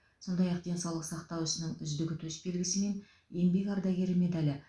сондай ақ денсаулық сақтау ісінің үздігі төсбелгісі мен еңбек ардагері медалі